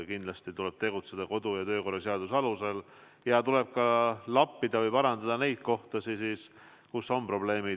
Kindlasti tuleb tegutseda kodu- ja töökorra seaduse alusel ja tuleb ka lappida või parandada neid kohti, kus on probleemid.